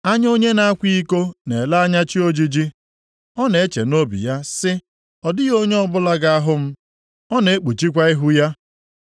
Anya onye na-akwa iko na-ele anya chi ojiji; ọ na-eche nʼobi ya sị, ‘Ọ dịghị onye ọbụla ga-ahụ m,’ ọ na-ekpuchikwa ihu ya.